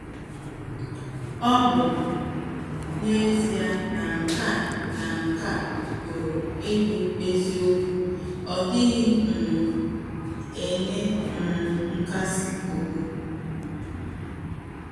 Ọ̀ bụ ezie na nke a na nke a pụrụ ịbụ eziokwu,ọ dịghị um enye um nkàsì obi.